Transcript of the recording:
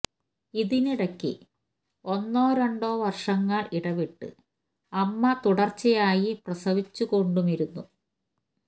ഇതിനിടയ്ക്ക് ഒന്നോ രണ്ടോ വർഷങ്ങൾ ഇടവിട്ട് അമ്മ തുടർച്ചയായി പ്രസവിച്ചു കൊണ്ടുമിരുന്നു